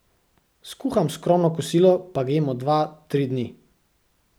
Skuham skromno kosilo, pa ga jemo dva, tri dni.